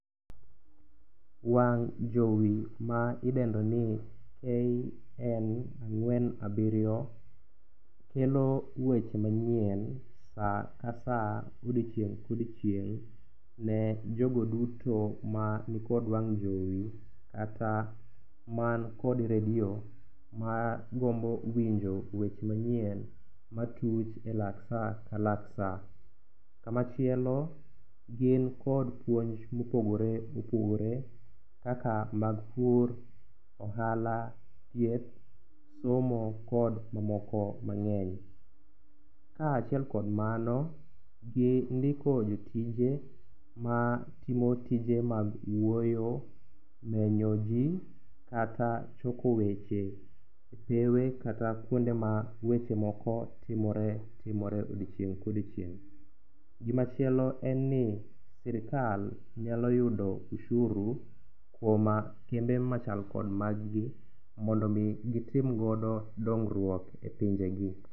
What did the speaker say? Wang' jowi ma idendo ni KN ang'wen abiriyo, kelo weche manyien sa ka sa, odiechieng' ka odiechieng', ne jogo duto ma nikod wang' jowi, kata man kod redio, magombo winjo weche manyien ma tuch e lak sa, ka lak sa. Kama chielo, gin kod puonj mopogore opogore, kaka mag pur, ohala, thieth, somo kod mamoko mang'eny. Kaachiel kod mano gindiko jotije matimo tije mag wuoyo, menyo ji kata choko weche kata kuonde ma weche moko timore timore odiechieng' ka odiechieng'. Gima chielo en ni sirkal nyalo yudo ushuru kuom kembe machal kod magi, mondo omi gitim godo dongruok e pinje gi.